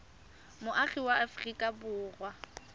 moagi wa aforika borwa ka